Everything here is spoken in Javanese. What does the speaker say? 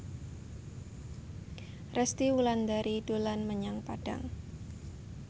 Resty Wulandari dolan menyang Padang